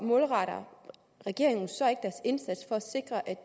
målretter regeringen så